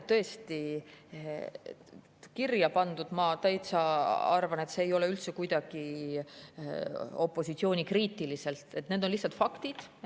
Tõesti, kirja on pandud – ma arvan, et see ei ole üldse kuidagi opositsioonikriitiline – lihtsalt faktid.